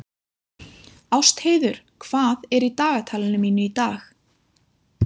Ástheiður, hvað er í dagatalinu mínu í dag?